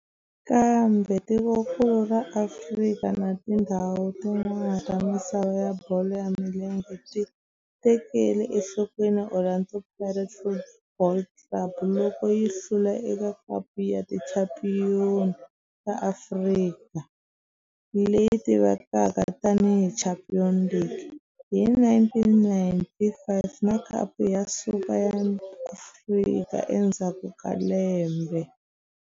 Kambe tikonkulu ra Afrika na tindzhawu tin'wana ta misava ya bolo ya milenge ti tekele enhlokweni Orlando Pirates Football Club loko yi hlula eka Khapu ya Tichampion ta Afrika, leyi tivekaka tani hi Champions League, hi 1995 na Khapu ya Super ya Afrika endzhaku ka lembe.